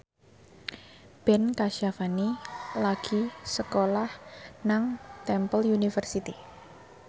Ben Kasyafani lagi sekolah nang Temple University